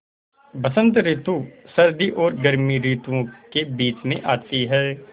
बसंत रितु सर्दी और गर्मी रितुवो के बीच मे आती हैँ